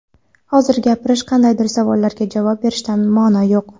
Hozir gapirish, qandaydir savollarga javob berishdan ma’no yo‘q.